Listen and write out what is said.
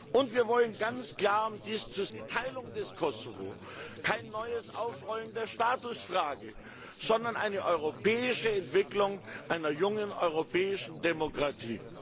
Und wir wollen ganz klar keine Teilung des Kosovo, kein neues Aufrollen der Statusfrage, sondern eine europäische Entwicklung einer jungen europäischen Demokratie!